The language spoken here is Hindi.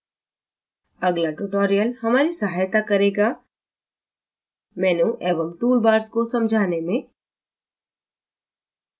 अगला tutorial हमारी सहायता करेगाmenu एवं टूल बार्स को समझने में